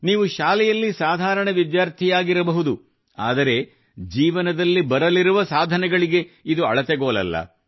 ನೀವು ಶಾಲೆಯಲ್ಲಿ ಸಾಧಾರಣ ವಿದ್ಯಾರ್ಥಿಯಾಗಿರ ಬಹುದು ಆದರೆ ಜೀವನದಲ್ಲಿ ಬರಲಿರುವ ಸಾಧನೆಗಳಿಗೆ ಇದು ಅಳತೆಗೋಲಲ್ಲ